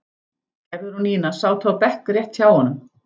Gerður og Nína sátu á bekk rétt hjá honum.